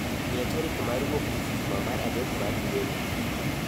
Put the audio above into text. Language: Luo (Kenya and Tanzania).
Miya tarik mar wuok tich juma mar adek mar dweni